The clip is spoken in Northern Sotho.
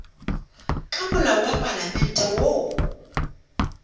ka molao wa palamente woo